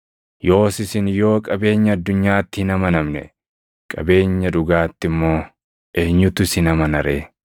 Yoos isin yoo qabeenya addunyaatti hin amanamne, qabeenya dhugaatti immoo eenyutu isin amana ree?